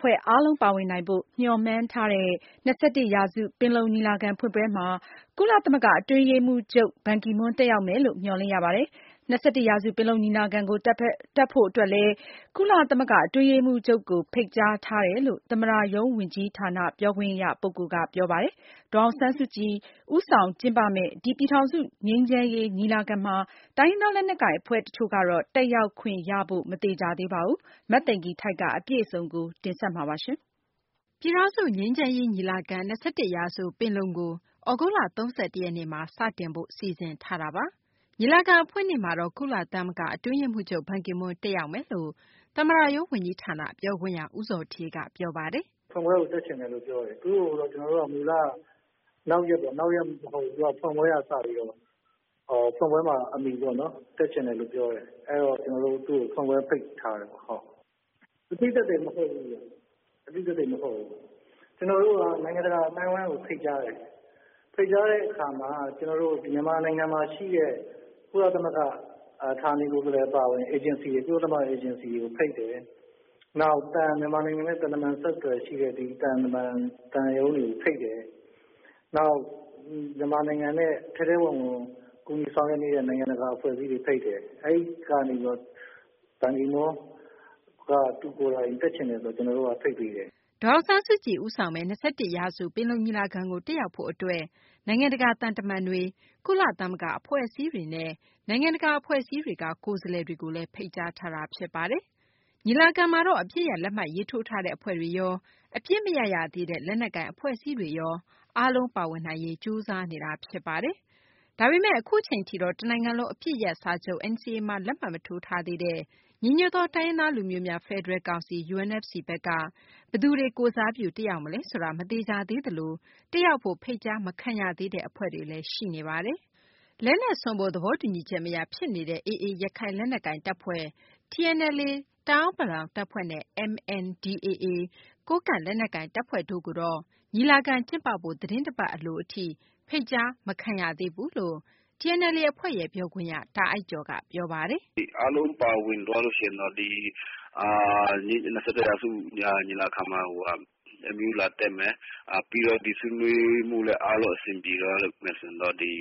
ဖွဲ့အားလုံး ပါဝင်နိုင်ဖို့ မျှော်မှန်းထားတဲ့ ၂၁ ရာစု ပင်လုံညီလာခံ ဖွင့်ပွဲမှာ ကုလ အတွင်းရေးမှူးချုပ် တက်ရောက်မယ်လို့ မျှော်လင့်ရပါတယ်။ ၂၁ ရာစု ပင်လုံညီလာခံကို တက်ဖို့အတွက် ကုလ အတွင်းရေးမှူးချုပ်ကို ဖိတ်ကြားထားတယ်လို့ သမ္မတရုံးဝန်ကြီးဌာန ပြောခွင့်ရက ပြောပါတယ်။ ဒေါ်အောင်ဆန်းစုကြည် ဦးဆောင်ကျင်းပမယ့် ဒီ ပြည်ထောင်စု ငြိမ်းချမ်းရေး ညီလာခံမှာ တိုင်းရင်းသား လက်နက်ကိုင် အဖွဲ့ တချို့ကတော့ တက်ရောက်ခွင့်ရဖို့ မသေချာသေးပါဘူး။ အပြည့်အစုံကိုတော့ မသိင်္ဂ ီထိုက် စုစည်းတင်ပြထားပါတယ်။ ပြည်ထောင်စု ငြိမ်းချမ်းရေး ညီလာခံ - ၂၁ ရာစု ပင်လုံကိုတော့ သြဂုတ်လ ၃၁ ရက်နေ့မှာ စတင်ဖို့ စီစဉ်ထားပါတယ်။ ညီလာခံ အဖွင့်နေ့မှာတော့ ကုလသမဂ္ဂ အတွင်းရေးမှူးချုပ် ဘန်ကီမွန်း တက်ရောက်မယ်လို့ သမ္မတရုံး ဝန်ကြီးဌာန ပြောခွင့်ရ ဦးဇော်ဌေးက ပြောပါတယ်။ “ဖွင့်ပွဲကို တက်ချင်တယ်လို့ပြောတယ်။ သူ့ကိုကျနော်တို့ကနောက်ရက်ပေါ့နော် ဒါပေမယ့် ဖွင့်ပွဲမှာ တက်ချင်တယ်လို့ပြောတယ်။အဲဒီတော့ ကျနော်တို့ သူ့ကို ဖွင့်ပွဲဖိတ်ထားတယ်ပေါ့နော်။ အသိသက်သေမဟုတ်ဘူး ကျနော်တို့က နိုင်ငံတကာ အသိုင်းအဝိုင်းကို ဖိတ်ကြားတယ်။ ဖိတ်ကြားတဲ့အခါမှာ ကျနော်တို့ မြန်မာနိုင်ငံမှာရှိတဲ့ ကုလသမဂ္ဂဌာနေကိုယ်စားလှယ်အပါအဝင် ၊ ကုလသမဂ္ဂ အေဂျင်စီတွေကိုဖိတ်တယ်။ နောက်မြန်မာနိုင်ငံနဲ့ သံတမန်ဆက်သွယ်ရေးရှိတဲ့ ဒီသံတမန်၊ သံရုံးတွေကိုဖိတ်တယ်။ နောက်မြန်မာနိုင်ငံကို ထဲထဲဝင်ဝင်ကူညီဆောင်ရွက်ပေးနေတဲ့ အဖွဲ့အစည်းတွေကိုဖိတ်တယ်။ အဲဒီကနေပြီးတော့ ဘန်ကီမွန်းက သူကိုယ်တိုင် တက်ချင်တယ်ဆိုတော့ ကျနော်တို့က ဖိတ်ပေးတယ်။” ဒေါ်အောင်ဆန်းစုကြည် ဦးဆောင်မယ့် ၂၁ ရာစု ပင်လုံညီလာခံကို တက်ရောက်ဖို့ အတွက် နိုင်ငံတကာ သံတမန်တွေ၊ ကုလသမဂ္ဂ အဖွဲ့အစည်းတွေနဲ့ နိုင်ငံတကာ အဖွဲ့အစည်းတွေက ကိုယ်စားလှယ်တွေကိုလည်း ဖိတ်ကြားထားတာပါ။ ညီလာခံမှာတော့ အပစ်ရပ်လက်မှတ်ရေးထိုးထားတဲ့ အဖွဲ့တွေရော၊ အပစ်မရပ်သေးတဲ့ လက်နက်ကိုင် အဖွဲ့အစည်းတွေရော အားလုံးပါဝင်နိုင်ရေး ကြိုးစားနေတာပါ။ ဒါပေမယ့် အခုချိန်ထိတော့ တနိုင်ငံလုံး အပစ်ရပ်စာချုပ် NCA မှာ လက်မှတ်မထိုးသေးတဲ့ ညီညွတ်သော တိုင်းရင်းသား လူမျိုးများ ဖယ်ဒရယ် ကောင်စီ UNFC ဘက်က ဘယ်သူတွေ တက်ရောက်မလဲဆိုတာ မသေချာ သေးသလို တက်ရောက်ဖို့ ဖိတ်ကြားမခံရသေးတဲ့ အဖွဲ့တွေလည်း ရှိနေပါတယ်။ လက်နက်စွန့်ဖို့ သဘောတူညီချက် မရ ဖြစ်နေတဲ့ AA ရခိုင်လက်နက်ကိုင်တပ်ဖွဲ့၊ TNLA တအာင်းပလောင်တပ်ဖွဲ့နဲ့ MNDAA ကိုးကန့်လက်နက်ကိုင် တပ်ဖွဲ့တို့ကိုတော့ ညီလာခံ ကျင်းပဖို့ သတင်းတပတ် အလိုအထိ ဖိတ်ကြားမခံရသေးဘူးလို့လည်း TNLA အဖွဲ့ရဲ့ ပြောခွင့်ရ တာအိုက်ကျော် က ပြောပါတယ်။ “အားလုံးပါဝင်သွားလို့ရှိရင်တော့ ဒီ ၂၁ ရာစုညီလာခံမှာကို ဘန်ကီမွန်းလာတက်မယ်။ နောက်ဒီဆွေးနွေးမှုလည်း အားလုံးအဆင်ပြေသွားလို့ရှိရင်တော့ ဒီ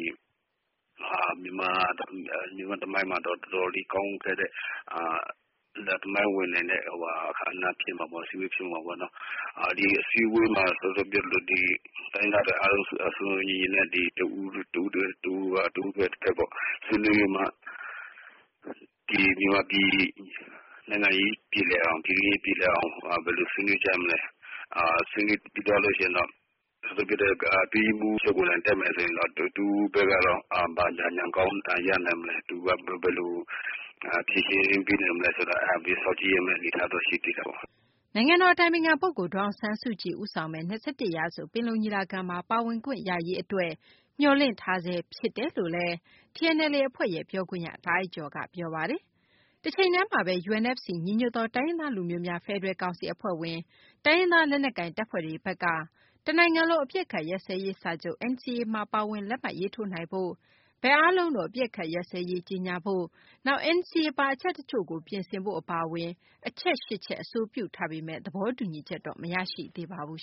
မြန်မာ့သမိုင်းမှာတော့ တော်တော်လေးကောင်းမွန်တဲ့ သမိုင်းဝင်နိုင်တဲ့ အခမ်းအနားဖြစ်မှာပေါ့ အစည်းအဝေးဖြစ်မှာပေါ့နော်။ ဒီအစည်းအဝေးမှာ တိုင်းရင်းသားတွေအားလုံး စုံစုံညီညီနဲ့ တဦးနဲ့ တဦး၊ တဘက်နဲ့ တဘက် ဆွေးနွေးပြီးမှ ဒီမြန်မာပြည်နိုင်ငံရေးပြေလည်အောင် ၊ ပြည်တွင်းရေး ပြေလည်အောင် ဘယ်လိုဆွေးနွေးကြမလဲ။ ဆွေးနွေးသွားပြီးလို့ရှိရင်တော့ ကုလ အတွင်းရေးမှူးချုပ်ကိုယ်တိုင် တက်မယ်ဆိုရင်တော့ သူ့ဘက်က ဘာအကြံဉာဏ်ကောင်းတွေရနိုင်မလဲ၊ သူဘာတွေဖြေရှင်းပေးနိုင်မလဲဆိုတာ စောင့်ကြည့်ရမယ့်အနေအထားတော့ ရှိသေးတာပေါ့နော်။” နိုင်ငံတော် အတိုင်ပင်ခံ ပုဂ္ဂိုလ် ဒေါ်အောင်ဆန်းစုကြည် ဦးဆောင်မယ့် ၂၁ ရာစု ပင်လုံညီလာခံမှာ ပါဝင်ခွင့်ရရေး အတွက်တော့ မျှော်လင့်ထားဆဲ ဖြစ်ပါတယ်လို့လည်း TNLA အဖွဲ့ရဲ့ ပြောခွင့်ရ တာအိုက်ကျော်က ပြောပါတယ်။ တချိန်တည်းမှာဘဲ UNFC ညီညွတ်သောတိုင်းရင်းသား လူမျိုးများ ဖယ်ဒရယ် ကောင်စီ အဖွဲ့ဝင် တိုင်းရင်းသား လက်နက်ကိုင်တပ်ဖွဲ့တွေဘက်က တနိုင်ငံလုံး အပစ်အခတ် ရပ်စဲရေး စာချုပ် NCA မှာ ပါဝင် လက်မှတ်ရေးထိုးနိုင်ဖို့ ဘက်အားလုံးတို့ အပစ်အခတ်ရပ်စဲရေး ကြေညာဖို့၊ နောက် NCA ပါ အချက်တချို့ကို ပြင်ဆင်ဖို့ အပါအဝင် အချက် ၈ ချက် အဆိုပြုထားပေမယ့် သဘောတူညီချက် မရသေးပါဘူး